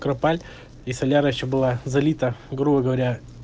кропаль и соляра ещё было залита грубо говоря